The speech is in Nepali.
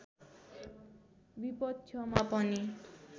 विपक्षमा पनि